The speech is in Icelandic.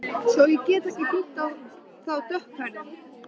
Svo ég geti hringt í þá dökkhærðu.